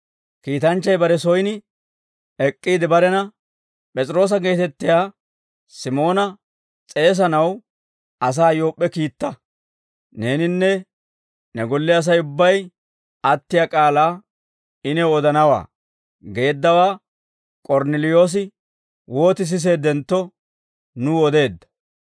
Kiitanchchay bare soyin ek'k'iide barena, ‹P'es'iroosa geetettiyaa Simoona s'eesanaw asaa Yoop'p'e kiitta; neeninne ne golle Asay ubbay attiyaa k'aalaa I new odanawaa› geeddawaa K'ornneliyoosi wooti siseeddentto, nuw odeedda.